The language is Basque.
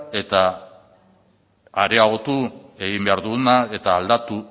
areagotu egiten dugu eta aldatu